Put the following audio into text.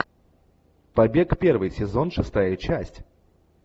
побег первый сезон шестая часть